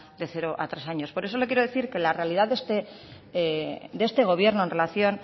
de cero a tres años por eso le quiero decir que la realidad de este gobierno en relación